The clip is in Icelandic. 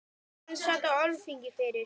Hann sat á Alþingi fyrir